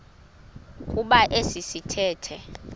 kuba esi sithethe